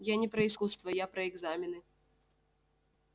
я не про искусство я про экзамены